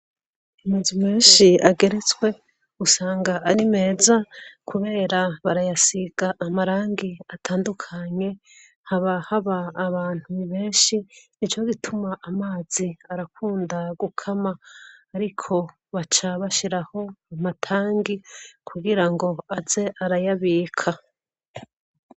Amazu menshi ageretswe usanga ari meza kubera barayasiga amarangi atandukanye, haba haba abantu benshi nico gituma amazi arakunda gukama ariko baca bashiraho amatangi kugira ngo aze arayabika.